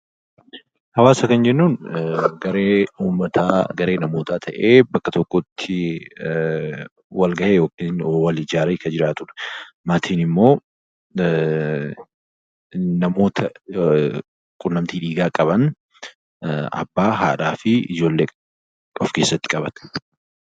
Hawaasa kan jennuun garee uummataa yookaan namootaa ta'ee bakka tokkotti walgahee yookiin wal ijaaree kan jiraatudha. Maatiin immoo namoota quunnamtii dhiigaa qaban abbaa, haadha fi ijoollee of keessatti qabata